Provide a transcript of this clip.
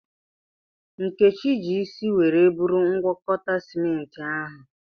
Nkechi ji isi were buru ngwakọta simenti ahụ.